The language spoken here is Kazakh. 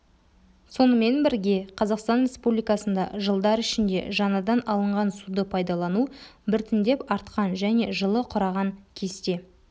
сонымен бірге қазақстан республикасында жылдар ішінде жаңадан алынған суды пайдалану біртіндеп артқан және жылы құраған кесте